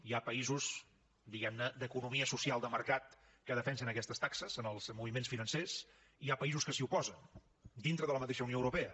hi ha països diguem ne d’economia social de mercat que defensen aquestes taxes en els moviments financers i hi ha països que s’hi oposen dintre de la mateixa unió europea